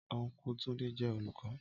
Ọnkú Túndé jẹ́ olùkọ́